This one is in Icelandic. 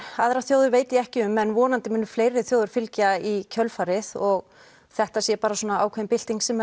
aðrar þjóðir veit ég ekki um en vonandi munu fleiri þjóðir fylgja í kjölfarið og þetta sé bara ákveðin bylting sem